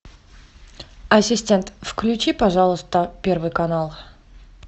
ассистент включи пожалуйста первый канал